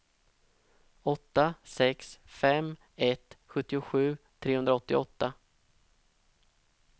åtta sex fem ett sjuttiosju trehundraåttioåtta